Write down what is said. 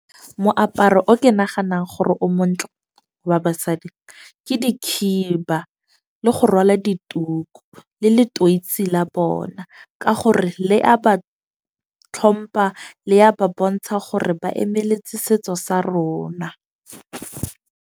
Moaparo o ke naganang gore o montle wa ba basadi, ke dikhiba le go rwala dituku le letweoisi la bona. Ka gore le a ba tlhompa le ya ba bontsha gore ba emeletse setso sa rona.